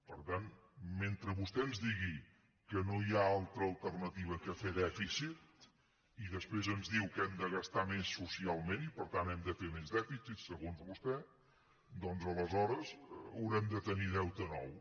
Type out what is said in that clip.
per tant mentre vostè ens digui que no hi ha altra alternativa que fer dèficit i després ens diu que hem de gastar més socialment i per tant hem de fer més dèficit segons vostè doncs aleshores haurem de tenir deute nou